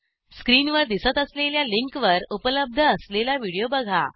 स्क्रीनवर दिसत असलेल्या लिंकवर उपलब्ध असलेला व्हिडिओ बघा